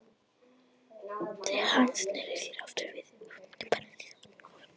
Þegar hann sneri sér aftur við var ungfrú Paradís horfin ofan í gufuna.